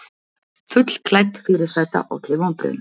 Fullklædd fyrirsæta olli vonbrigðum